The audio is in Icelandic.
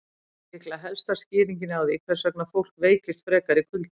Þetta er líklega helsta skýringin á því hvers vegna fólk veikist frekar í kulda.